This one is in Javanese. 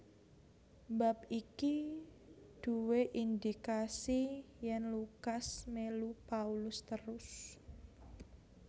Bab iki duwé indikasi yèn Lukas mélu Paulus terus